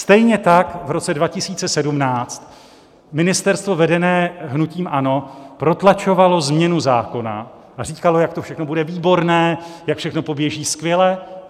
Stejně tak v roce 2017 ministerstvo vedené hnutím ANO protlačovalo změnu zákona a říkalo, jak to všechno bude výborné, jak všechno poběží skvěle.